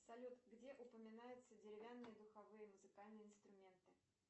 салют где упоминаются деревянные духовые музыкальные инструменты